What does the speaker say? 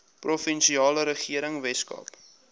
provinsiale regering weskaap